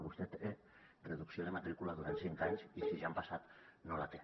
vostè té reducció de matrícula durant cinc anys i si ja han passat no la té